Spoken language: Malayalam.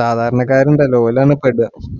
സാധാരണക്കാരുണ്ടല്ലോ ഓരാണ് പെടുക